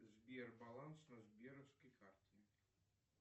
сбер баланс на сберовской карте